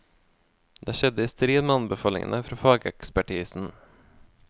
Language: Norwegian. Det skjedde i strid med anbefalingene fra fagekspertisen.